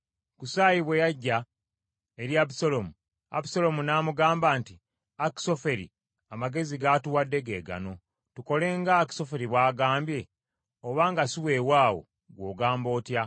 Kusaayi bwe yajja eri Abusaalomu, Abusaalomu n’amugamba nti, Akisoferi, amagezi g’atuwadde ge gano. Tukole nga Akisoferi bw’agambye? Oba nga si weewaawo, ggwe ogamba otya?